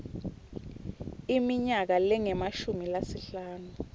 iminyaka lengemashumi lasihlanu